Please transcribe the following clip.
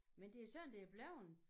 Men det sådan det er bleven